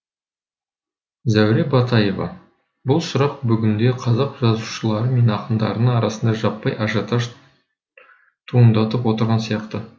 зәуре батаева бұл сұрақ бүгінде қазақ жазушылары мен ақындарының арасында жаппай ажиотаж туындатып отырған сияқты